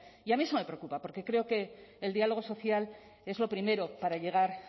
y a mí eso me preocupa porque creo que el diálogo social es lo primero para llegar